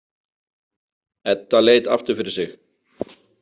Edda leit aftur fyrir sig.